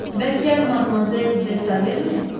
Bəlkə Madmazel de Taverne?